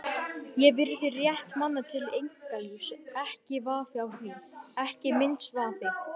Ég virði rétt manna til einkalífs, ekki vafi á því, ekki minnsti vafi.